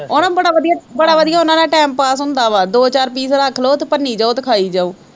ਉਹ ਨਾ ਬੜਾ ਵਧੀਆ ਬੜਾ ਵਧੀਆ ਉਹਨਾਂ ਦਾ time pass ਹੁੰਦਾ ਵਾ ਦੋ ਚਾਰ piece ਰੱਖ ਲਓ ਤੇ ਭੰਨੀ ਜਾਓ ਤੇ ਖਾਈ ਜਾਓ